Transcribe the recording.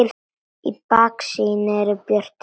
Í baksýn eru brött fjöll.